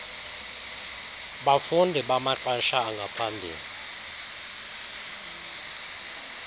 bafundi bamaxesha angaphambili